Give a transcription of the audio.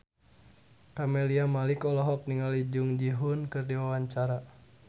Camelia Malik olohok ningali Jung Ji Hoon keur diwawancara